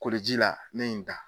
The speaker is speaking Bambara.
Koliji la ne ye n da.